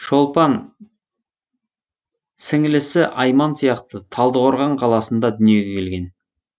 шолпан сіңілісі айман сияқты талдықорған қаласында дүниеге келген